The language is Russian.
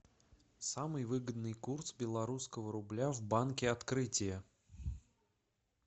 самый выгодный курс белорусского рубля в банке открытие